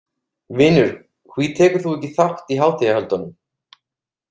Vinur hví tekurðu ekki þátt í hátíðahöldunum?